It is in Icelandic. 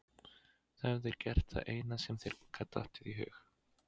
Þú hefðir gert það eina sem þér gat dottið í hug.